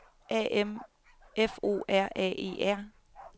A M F O R A E R